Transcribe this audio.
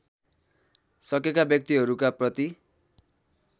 सकेका व्यक्तिहरूका प्रति